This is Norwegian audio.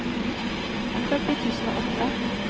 førti tusen og åtte